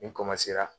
Ni